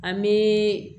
An bɛ